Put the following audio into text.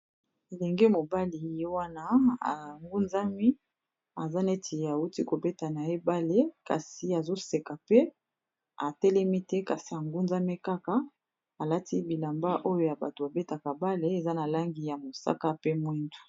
elenge mobali ye wana angunzami aza neti auti kobeta na ye bale kasi azoseka pe atelemi te kasi angunzami kaka alati bilamba oyo ya bato babetaka bale eza na langi ya mosaka pe mwindu